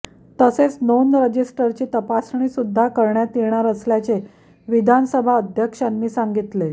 तसेच नोंद रजिस्टरची तपासणी सुद्धा करण्यात येणार असल्याचे विधानसभा अध्यक्षांनी सांगितले